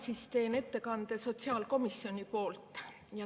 Mina teen ettekande sotsiaalkomisjoni poolt.